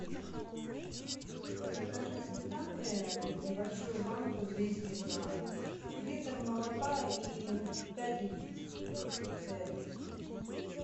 закажи сметаны небольшую банку двести грамм литр молока и пять яиц ц один